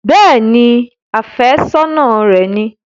Bẹ́ẹ̀ni, àfẹ́sọ́nà ni mi